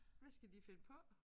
Hvad skal de finde på?